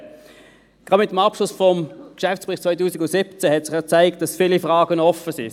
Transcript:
Mit dem Abschluss des Geschäftsberichts 2017 hat sich ja gezeigt, dass noch viele Fragen offen sind.